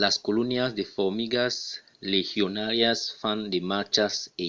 las colonias de formigas legionàrias fan de marchas e